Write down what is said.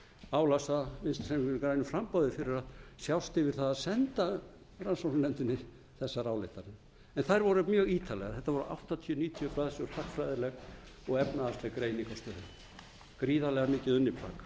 álasa vinstri hreyfingunni grænu framboði fyrir að sjást yfir það að senda rannsóknarnefndinni þessar ályktanir en þær voru mjög ítarlegar þetta voru áttatíu níutíu blaðsíður hagfræðileg og efnahagsleg greining á stöðunni gríðarlega mikið unnið plagg þessa vildi ég geta næst er